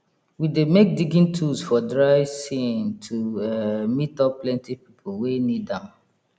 we dey make digging tools for dry sean to um meet up plenty people wey need am